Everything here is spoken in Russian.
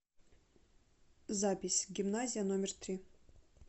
запись гимназия номер три